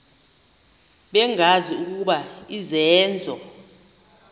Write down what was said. bengazi ukuba izenzo